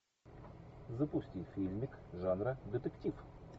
запусти фильмик жанра детектив